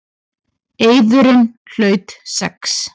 Eiðurinn hlaut sex.